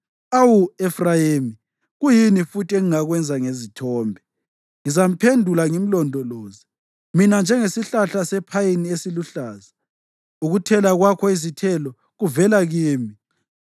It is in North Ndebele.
Awu Efrayimi, kuyini futhi engingakwenza ngezithombe? Ngizamphendula ngimlondoloze. Mina nginjengesihlahla sephayini esiluhlaza, ukuthela kwakho izithelo kuvela kimi.”